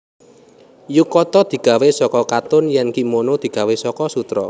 Yukata digawé saka katun yèn kimono digawé saka sutra